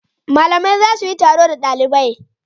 Malaman za su yi taro da dalibai.